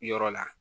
Yɔrɔ la